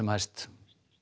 hæst